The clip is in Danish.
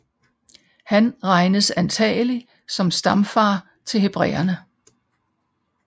Han regnes antagelig som stamfar til hebræerne